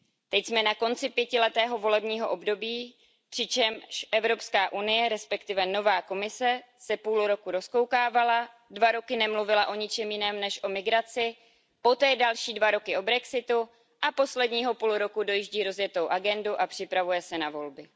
Teď jsme na konci pětiletého volebního období, přičemž Evropská unie, respektive nová Komise, se půl roku rozkoukávala, dva roky nemluvila o ničem jiném než o migraci, poté další dva roky o brexitu a posledního půl roku dojíždí rozjetou agendu a připravuje se na volby.